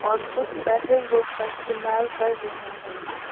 और कुछ battle rope का इस्तमाल कर रहे हैं।